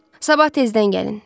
Sabah tezdən gəlin.